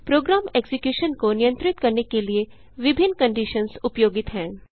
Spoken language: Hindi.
प्रोग्राम एक्जिक्यूशन को नियंत्रित करने के लिए विभिन्न कंडिशन्स उपयोगित हैं